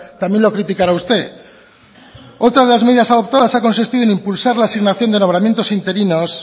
también lo criticara usted otra de las medidas adoptadas ha consistido en impulsar la asignación de nombramientos interinos